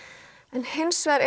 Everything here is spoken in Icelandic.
en hins vegar